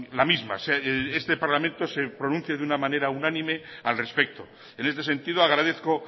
la misma que el parlamento se pronuncie de manera unánime al respecto en este sentido agradezco